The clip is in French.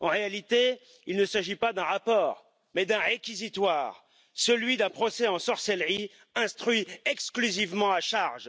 En réalité, il ne s'agit pas d'un rapport, mais d'un réquisitoire, celui d'un procès en sorcellerie instruit exclusivement à charge.